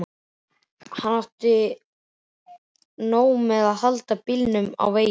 Hann átti nóg með að halda bílnum á veginum.